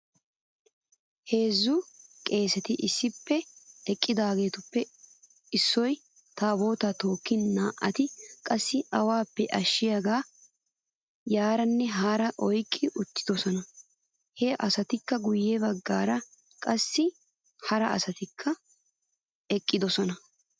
Heezzu qeeseti issippe eqqidaageetuppe issoy taabootaa tookkin naa'ati qassi awaappe ashshiyaagaa yaaranne haara oyqqi uttidosona. He asatuppe guyye bagaara qassi hara asatikka eqqidosona.